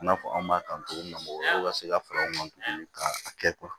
I n'a fɔ an b'a kan cogo min na olu ka se ka fara u kan tuguni ka kɛ